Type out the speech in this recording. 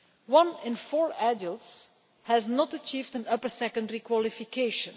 One in four adults has not achieved an upper secondary qualification.